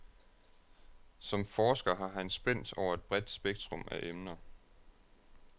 Som forsker har han spændt over et bredt spektrum af emner.